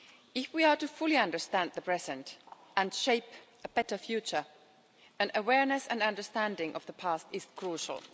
If we are fully to understand the present and shape a better future, an awareness and understanding of the past is crucial.